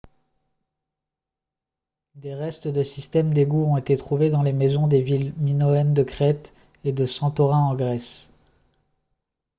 des restes de systèmes d'égouts ont été trouvés dans les maisons des villes minoennes de crète et de santorin en grèce